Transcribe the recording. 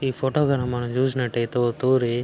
ఈ ఫోటో గణ మనం చూసినట్లయితే ఓ తూరి --